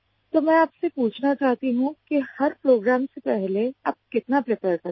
तो मैं आपसे पूछना चाहती हूँ कि हर प्रोग्राम से पहले आप कितना प्रीपेयर करते हैं